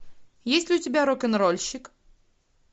есть ли у тебя рок н рольщик